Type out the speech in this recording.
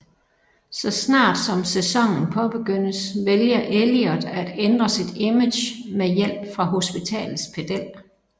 Så snart som sæsonen påbegyndes vælger Elliot at ændre sit image med hjælp fra hospitalets pedel